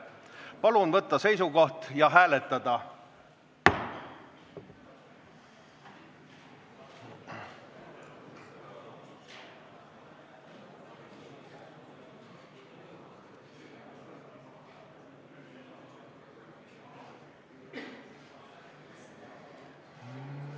Palun võtta seisukoht ja hääletada!